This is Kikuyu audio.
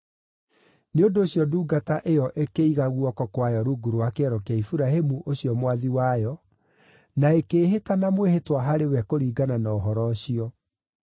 Nĩ ũndũ ũcio ndungata ĩyo ĩkĩiga guoko kwayo rungu rwa kĩero kĩa Iburahĩmu ũcio mwathi wayo, na ĩkĩĩhĩta na mwĩhĩtwa harĩ we kũringana na ũhoro ũcio.